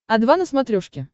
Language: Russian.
о два на смотрешке